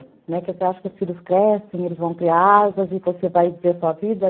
Né, Você acha que os filhos crescem, eles vão criar asas e você vai viver sua vida?